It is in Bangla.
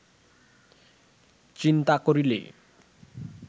চিন্তা করিলে